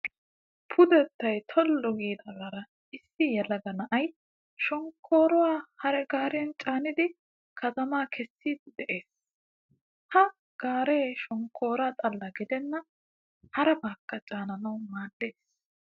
Pudettayi tollu giidaagaara issi yelaga na"ayi shonkkooruwaa hariya gaariyan caanidi katamaa kessiddi de"es. Ha gaare shonkoora xalla gidennan harabaakka caananawu maaddees.